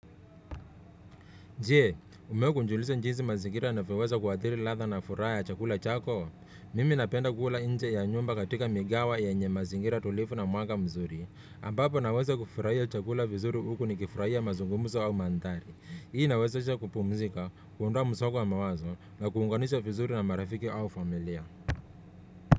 Je, umewahi kujiuliza jinsi mazingira yanavyoweza kuathiri latha na furaha ya chakula chako? Mimi napenda kula nje ya nyumba katika migawa yenye mazingira tulivu na mwanga mzuri. Ambapo naweza kufurahia chakula vizuri huku ni kifurahia mazungumuzo au manthari. Hii inawezesha kupumzika, kuondoa msongo wa mawazo na kuunganisha vizuri na marafiki au familia.